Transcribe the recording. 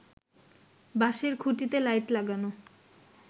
বাঁশের খুঁটিতে লাইট লাগানো